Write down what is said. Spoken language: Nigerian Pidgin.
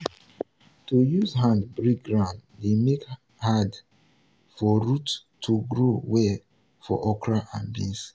to use hand break ground dey make hard for root to grow well for okra and beans.